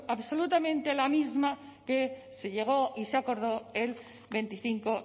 absurdo absolutamente la misma que se llegó y se acordó el veinticinco